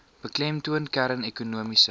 beklemtoon kern ekonomiese